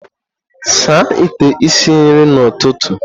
Saa ite esi nri n'ụtụtụ!